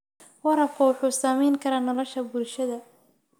Waraabku wuxuu saamayn karaa nolosha bulshada.